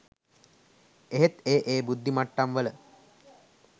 එහෙත් ඒ ඒ බුද්ධිමට්ටම් වල